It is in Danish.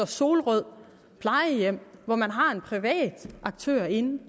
solrød plejehjem hvor man har en privat aktør inde det